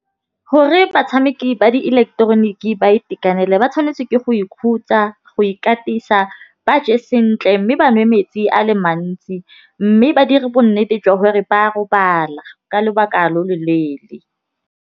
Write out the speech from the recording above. Gore batšhameki ba dieleketeroniki ba itekanele ba tshwanetse ke go ikhutsa, go ikatisa. Ba je sentle mme ba nwe metsi a le mantsi, mme ba dire bonnete jwa gore ba robala ka lobaka lo lo leele.